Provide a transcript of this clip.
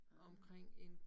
Ah